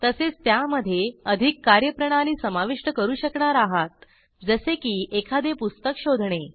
तसेच त्यामधे अधिक कार्यप्रणाली समाविष्ट करू शकणार आहात जसे की एखादे पुस्तक शोधणे